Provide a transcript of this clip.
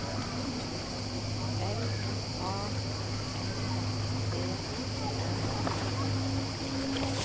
L A N D R O